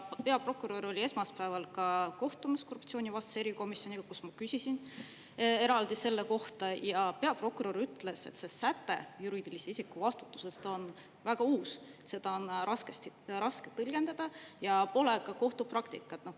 Peaprokurör oli esmaspäeval ka kohtumas korruptsioonivastase erikomisjoniga, kus ma küsisin eraldi selle kohta, ja peaprokurör ütles, et see säte juriidilise isiku vastutusest on väga uus, seda on raske tõlgendada ja pole ka kohtupraktikat.